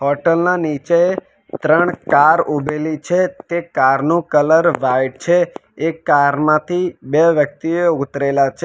Hotel ના નીચે ત્રણ કાર ઊભેલી છે તે કાર નું કલર વાઈટ છે એ કાર માંથી બે વ્યક્તિઓ ઉતરેલા છે.